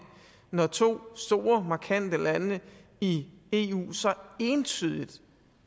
når to store markante lande i eu så entydigt